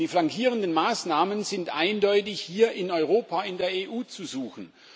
Die flankierenden Maßnahmen sind eindeutig hier in Europa in der EU zu suchen.